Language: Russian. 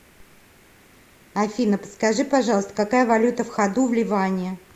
афина подскажи пожалуйста какая валюта в ходу в ливане